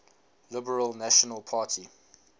liberal national party